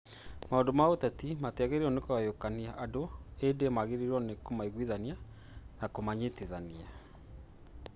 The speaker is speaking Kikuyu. Maũndũ ma ũteti matiagĩrĩirũo kũgayũkania andũ ĩndĩ magĩrĩirũo kũmaiguithania na kũmanyitithania.